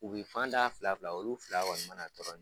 U bi fan da fila fila olu fila kɔni mna tɔrɔ ɲɔgɔnfɛ